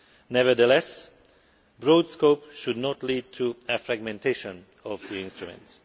Nevertheless, a broad scope should not lead to a fragmentation of the instruments.